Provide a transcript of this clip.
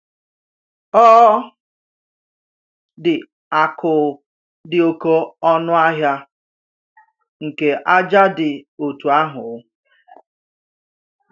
Ọ̀ dị akụ̀ dị oké ọnù̀ ahịa nke àjà dị otú àhụ̀?